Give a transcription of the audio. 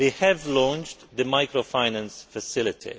it. We have launched the microfinance facility.